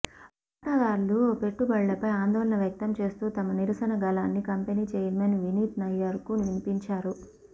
వాటాదారులు పెట్టుబడులపై ఆందోళన వ్యక్తం చేస్తూ తమ నిరసన గళాన్ని కంపెనీ చైర్మన్ వినీత్ నయ్యర్కు వినిపించారు